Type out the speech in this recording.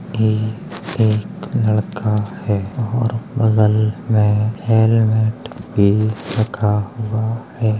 यह एक लड़का है और बगल में हेलमेट भी रखा हुआ है।